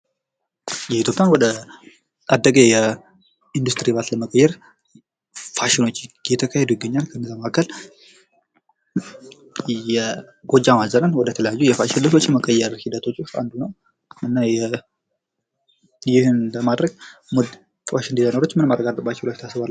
የኢትዮጵያ ወደ አደገ የኢንዱስትሪ ልማት ለመቀየር ፋሽኖች እየተካሄዱ ይገኛል። ከነዛም መካከል የጎጃም አዘነ ወደ ተለያዩ የፋሽ ልብሶች መቀየር ሂደቶች ውስጥ አንዱ ነው። እና ይህም ለማድረግ ፋሽን ዲዛይነሮች ምን ማድረግ አለባቸው ብላችሁ ታስባላቺሁ?